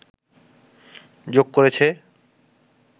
যোগ করেছে